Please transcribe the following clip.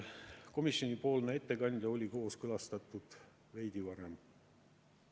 Komisjoni ettekandja oli kooskõlastatud veidi varem.